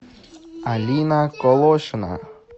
алина колошина